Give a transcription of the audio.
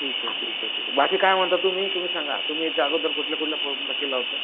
ठीक आहे ठीक आहे ठीक आहे बाकी काय म्हणता तुम्ही? तुम्ही सांगा तुम्ही याच्या अगोदर कुठल्या कुठल्या ला केला होता?